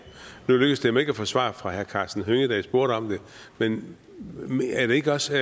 nu lykkedes det mig ikke at få svar fra herre karsten hønge da jeg spurgte om det men er det ikke også